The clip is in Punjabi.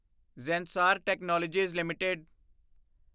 Zensar technologies LTD